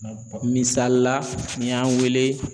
Misali la n'i y'an wele